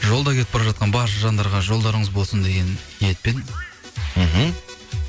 жолда кетіп бара жатқан барша жандарға жолдарыңыз болсын деген ниетпен мхм